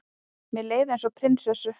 Mér leið eins og prinsessu.